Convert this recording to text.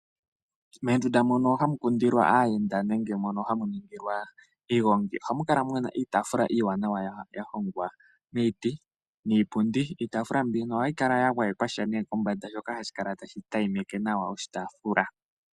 Mondunda mono hamu kundilwa aayenda nenge hamu ningilwa iigongi ohamu kala wuna iitafula iiwanawa ya hongwa miiti niipundi. Iitafula mbika ohayi kala ya gwayekwa sha kombanda yi kale tayi adhima.